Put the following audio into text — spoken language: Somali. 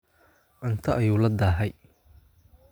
Cunto ayuu la daahay